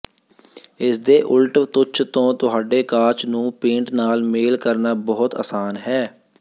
ਇਸਦੇ ਉਲਟ ਤੁੱਛ ਤੋਂ ਤੁਹਾਡੇ ਕਾਚ ਨੂੰ ਪੇੰਟ ਨਾਲ ਮੇਲ ਕਰਨਾ ਬਹੁਤ ਅਸਾਨ ਹੈ